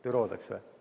Büroodeks või?